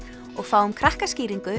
og fáum